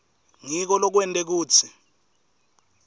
ngiko lokwente kutsi